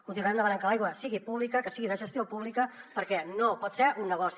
continuarem demanant que l’aigua sigui pública que sigui de gestió pública perquè no pot ser un negoci